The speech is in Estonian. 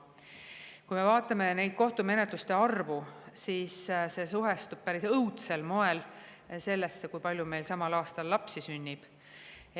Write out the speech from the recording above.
Kui me vaatame niisuguste kohtumenetluste arvu, siis see seostub päris õudsel moel sellega, kui palju meil lapsi sünnib.